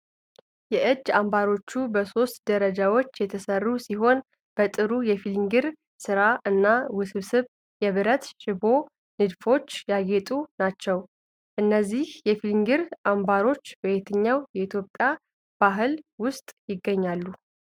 የእጅ አምባሮቹ በሦስት ደረጃዎች የተሠሩ ሲሆን፤ በጥሩ የፊሊግሪ ሥራ እና ውስብስብ የብረት ሽቦ ንድፎች ያጌጡ ናቸው። እነዚህ የፊሊግሪ አምባሮች በየትኛው የኢትዮጵያ ባህል ውስጥ ይገኛሉ?